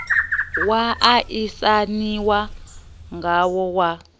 wa a isaniwa ngawo wa